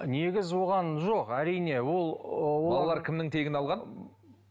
негіз оған жоқ әрине ол балалар кімнің тегін алған